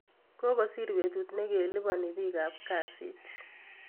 Kokosir betut nikiliboni biik kap kasit